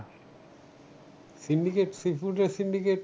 Syndicate sea food এর syndicate